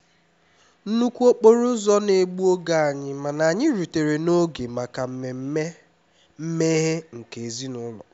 nnukwu okporo ụzọ na-egbu oge anyị mana anyị rutere n'oge maka mmemme mmeghe nke ezinụlọ